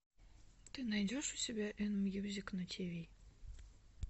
ты найдешь у себя эн мьюзик на тиви